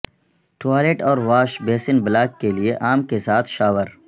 toilet اور wash basin block کے لئے عام کے ساتھ شاور